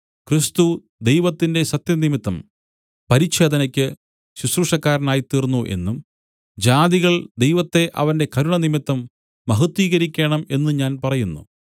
ക്രിസ്തു ദൈവത്തിന്റെ സത്യംനിമിത്തം പരിച്ഛേദനയ്ക്ക് ശുശ്രൂഷക്കാരനായിത്തീർന്നു എന്നും ജാതികൾ ദൈവത്തെ അവന്റെ കരുണനിമിത്തം മഹത്വീകരിക്കേണം എന്നും ഞാൻ പറയുന്നു